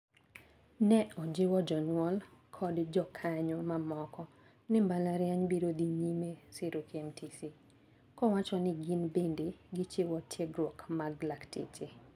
Ne ojiwo jonyuol kod jokanyo mamoko ni mbalariany biro dhi nyime siro KMTC. Kowacho ni gin bende gichiwo tiegruok mag lakteche.